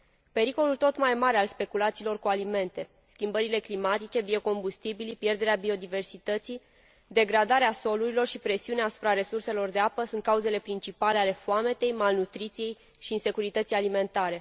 Pericolul tot mai mare al speculațiilor cu alimente, schimbările climatice, biocombustibilii, pierderea biodiversității, degradarea solurilor și presiunea asupra resurselor de apă sunt cauzele principale ale foametei, malnutriției și insecurității alimentare.